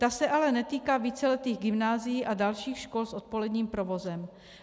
Ta se ale netýká víceletých gymnázií a dalších škol s odpoledním provozem.